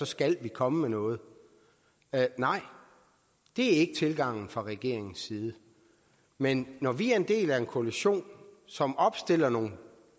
skal vi komme med noget nej det er ikke tilgangen fra regeringens side men når vi er en del af en koalition som opstiller nogle